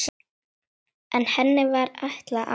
En henni var ætlað annað.